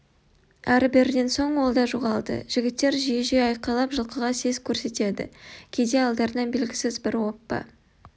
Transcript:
әрі-беріден соң ол да жоғалды жігіттер жиі-жиі айқайлап жылқыға сес көрсетеді кейде алдарынан белгісіз бір оппа